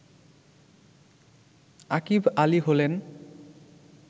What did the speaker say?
আকিভ আলী হলেন